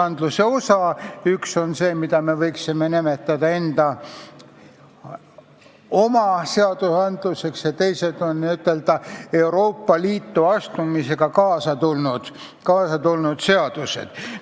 Üks osa on see, mida me võiksime nimetada oma seadusteks, ja teised on n-ö Euroopa Liitu astumisega kaasa tulnud seadused.